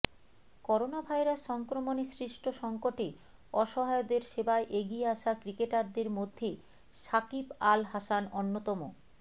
coronavirus সংক্রমণে সৃষ্ট সঙ্কটে অসহায়দের সেবায় এগিয়ে আসা ক্রিকেটারদের মধ্যে সাকিব আল হাসান অন্যতম